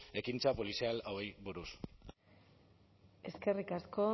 ekintza polizial hauei buruz eskerrik asko